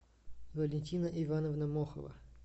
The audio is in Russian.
валентина ивановна мохова